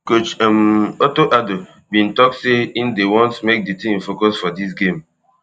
coach um otto addo bin tok say im dey want make di team focus for dis game